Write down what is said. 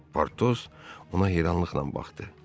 Potos ona heyranlıqla baxdı.